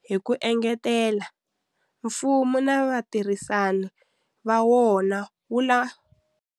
Hi ku engetela, mfumo na vatirhisani va wona wu la.